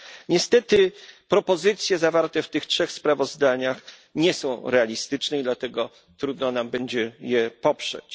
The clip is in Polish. Niestety propozycje zawarte w tych trzech sprawozdaniach nie są realistyczne, i dlatego trudno nam będzie je poprzeć.